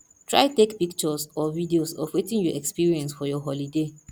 try take pictures or videos of wetin you experience for your holiday